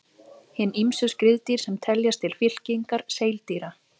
Hin ýmsu skriðdýr sem teljast til fylkingar seildýra.